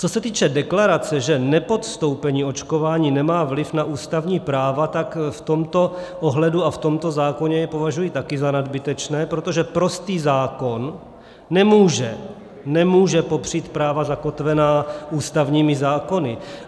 Co se týče deklarace, že nepodstoupení očkování nemá vliv na ústavní práva, tak v tomto ohledu a v tomto zákoně je považuji také za nadbytečné, protože prostý zákon nemůže, nemůže popřít práva zakotvená ústavními zákony.